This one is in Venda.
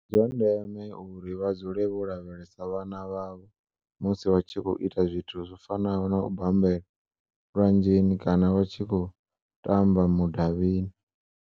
Ndi zwa ndeme uri vha dzule vho lavhelesa vhana vhavho musi vha tshi khou u ita zwithu zwi fanaho na u bambela lwanzheni kana vha tshi khou tamba mu-davhini.